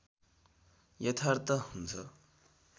यथार्थ हुन्छ